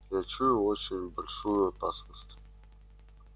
я чую очень большую опасность